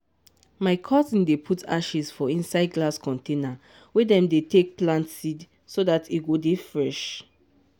my cousin dey put ashes for inside glass container wey dem take dey plant seed so that e go dey fresh.